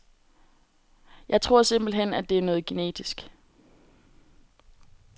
Jeg tror simpelthen, at det er noget genetisk.